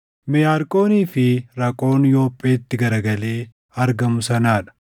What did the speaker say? Meyaarqoonii fi Raqoon Yoopheetti garagalee argamu sanaa dha.